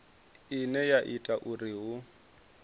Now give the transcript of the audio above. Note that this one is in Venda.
ine ya ita uri hu